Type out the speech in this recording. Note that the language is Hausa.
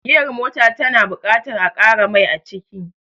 Giyar mota ta na buƙatar a ƙara mai aciki